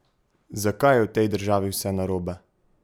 Zakaj je v tej državi vse narobe?